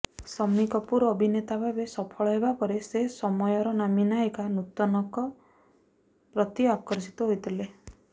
ଶମ୍ମୀ କପୁର୍ ଅଭିନେତାଭାବେ ସଫଳ ହେବାପରେ ସେ ସମୟର ନାମୀ ନାୟିକା ନୂତନଙ୍କ ପ୍ରତି ଆକର୍ଷିତ ହୋଇଥିଲେ